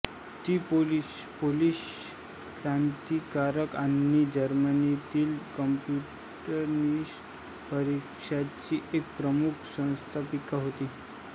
ती पोलिश क्रांतिकारक आणि जर्मनीतील कम्युनिस्ट पक्षाची एक प्रमुख संस्थापीका होती